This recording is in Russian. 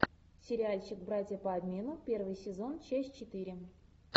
сериальчик братья по обмену первый сезон часть четыре